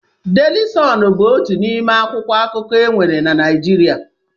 Daily Sun bụ otu n'ime akwụkwọ akụkọ e nwere Naịjirịa.